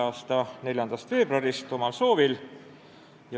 a 4. veebruarist omal soovil.